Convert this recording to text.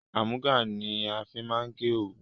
Àmúga ni a fi máa ń gé òwu